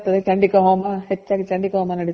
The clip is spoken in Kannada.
ಚಂಡಿಕ ಹೋಮ. ಹೆಚ್ಚಾಗಿ ಚಂಡಿಕ ಹೋಮ ನಡೀತಾ ಇರುತ್ತೆ ಎಲ್ಲ ದೇವಾಸ್ಥಾನಗಳಲ್ಲಿ